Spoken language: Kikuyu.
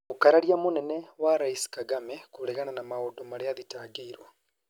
Mũkararia mũnene wa Rais Kagame kũregana na maũndũ marĩa athitangĩirwo